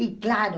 E claro,